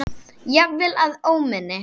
Jafnvel að óminni.